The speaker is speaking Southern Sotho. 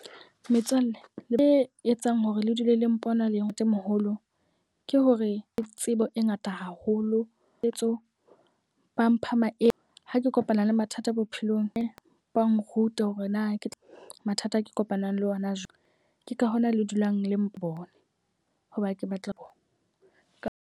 Metswalle, le etsang hore le dule le mpona le ntatemoholo ke hore le tsebo e ngata haholo le tseo ba mpha maele. Ha ke kopana le mathata bophelong e ba nruta hore na ke mathata a ke kopanang le ona jwang. Ke ka hona le dulang le mpona hoba ke batla ho ka.